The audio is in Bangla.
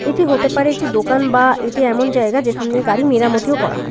এটি হতে পারে একটি দোকান বা এটি এমন জায়গা যেখান দিয়ে গাড়ি মেরামতিও করা হয়।